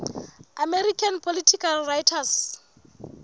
american political writers